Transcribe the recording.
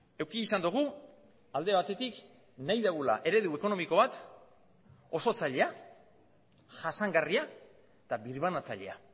eduki izan dugu alde batetik nahi dugula eredu ekonomiko bat oso zaila jasangarria eta birbanatzailea